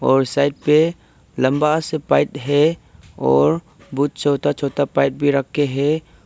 और साइड पे लंबा से पाइद है और बहुत छोटा छोटा पाइप भी रखे हैं।